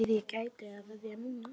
Ef ég ætti að veðja núna?